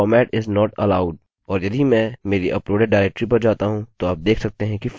और यदि मैं मेरी अपलोडेड डाइरेक्टरी पर जाता हूँ तो आप देख सकते हैं कि फोल्डर खाली है